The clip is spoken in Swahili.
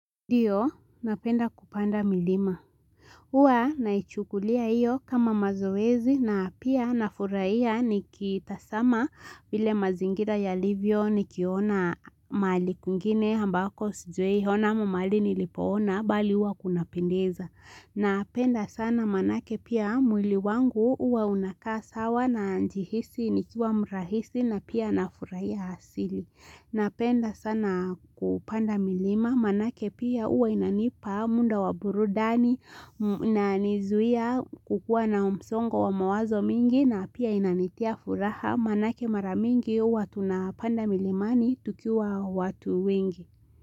Ndio, napenda kupanda milima. Huwa naichukulia iyo kama mazoezi na pia nafurahia nikitazama vile mazingira yalivyo nikiona mali kungine hambako sijuei hona mu mali nilipoona bali uwa kunapendeza. Napenda sana manake pia mwili wangu uwa unakaa sawa najihisi nikiwa mrahisi na pia nafuraia hasili. Napenda sana kupanda milima manake pia uwa inanipa muda wa burudani na nizuia kukuwa na msongo wa mawazo mingi na pia inanitia furaha manake mara mingi uwa tunapanda milimani tukiwa watu wingi.